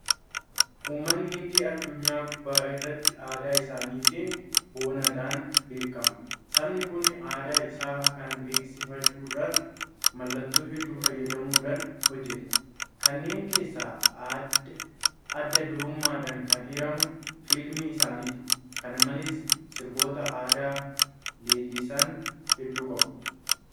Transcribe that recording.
Uummanni Hindii addunyaa gubbaa irratti aadaa isaatiin boonuudhaan beekama. Sabni kun aadaa isaa kana beeksifachuudhaaf maloota hedduu fayyadamuudhaan hojjeta. Kanneen keessaa adda durummaadhaan kan eeramu Fiilmii isaaniiti. Kana malees sirboota aadaa leellisan hedduu qabu.